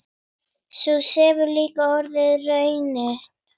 Sú hefur líka orðið raunin.